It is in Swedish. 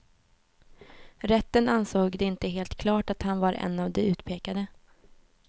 Rätten ansåg det inte helt klart att han var en av de utpekade.